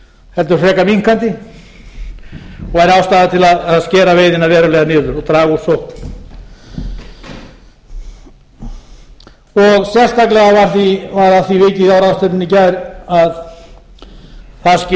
heldur frekar minnkandi og væri ástæða til að skera veiðina verulega niður og draga úr sókn sérstaklega var að því vikið á ráðstefnunni í gær að það